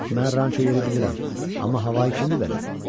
Mən ranço yeri bilirəm, amma havanı kimdi verən?